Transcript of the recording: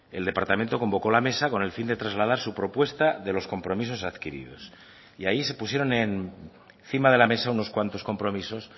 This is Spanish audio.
el departamento convocó la mesa con el fin de trasladar su propuesta de los compromisos adquiridos y ahí se pusieron encima de la mesa unos cuantos compromisos